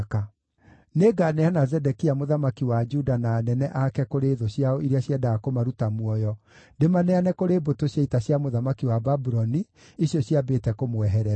“Nĩnganeana Zedekia mũthamaki wa Juda na anene ake kũrĩ thũ ciao iria ciendaga kũmaruta muoyo, ndĩmaneane kũrĩ mbũtũ cia ita cia mũthamaki wa Babuloni, icio ciambĩte kũmweherera.